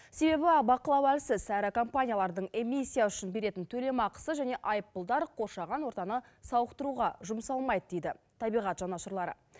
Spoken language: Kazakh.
себебі бақылау әлсіз әрі компаниялардың эмиссия үшін беретін төлемақысы және айыппұлдар қоршаған ортаны сауықтыруға жұмсалмайды дейді табиғат жанашырлары